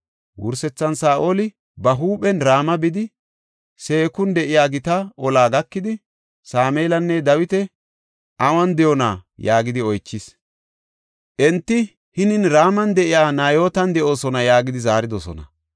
Wursethan, Saa7oli ba huuphen Rama bidi, Seekun de7iya gita ollaa gakidi, “Sameelinne Dawiti awun de7oona?” yaagidi oychis. Enti, “Hinin Raman de7iya Nayootan de7oosona” yaagidi zaaridosona.